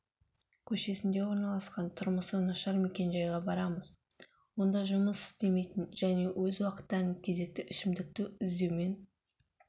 көшесінде орналасқан тұрмысы нашар мекен-жайға барамыз онда жұмыс істемейтін және өз уақыттарын кезекті ішімдікті іздеумен